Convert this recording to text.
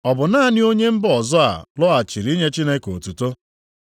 Ọ bu naanị onye mba ọzọ a lọghachiri inye Chineke otuto?”